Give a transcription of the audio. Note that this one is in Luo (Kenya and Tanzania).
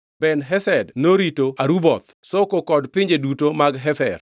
Ben-Hesed norito Aruboth (Soko kod pinje duto mag Hefer).